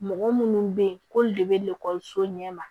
Mɔgɔ minnu bɛ yen k'olu de bɛ ekɔliso ɲɛma